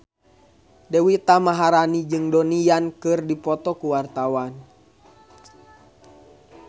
Deswita Maharani jeung Donnie Yan keur dipoto ku wartawan